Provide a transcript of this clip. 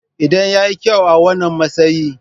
Idan ya yi kyau a wannan matsayi.